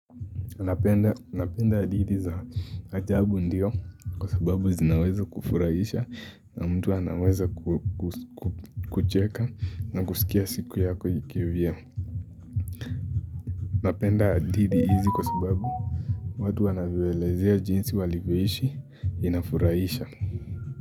Napenda adidhi za ajabu ndiyo kwa sababu zinaweza kufuraisha na mtu anaweza kucheka na kusikia siku yako ikivya. Napenda adithi hizi kwa sababu watu waanavyoelezea jinsi walivyoishi inafurahisha.